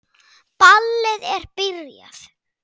Ballið er byrjað.